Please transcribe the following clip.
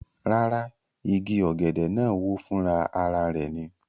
Rárá, igi ọ̀gẹ̀dẹ̀ náà wó fúnra ara rẹ̀